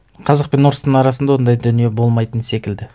қазақ пен орыстың арасында ондай дүние болмайтын секілді